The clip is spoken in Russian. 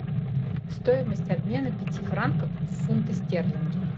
стоимость обмена пяти франков в фунты стерлинги